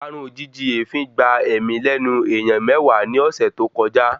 Parun ojìjijì èéfín gba èémí lẹ́nu èèyàn mewaa ni ọ̀sẹ̀ tọ́ kojá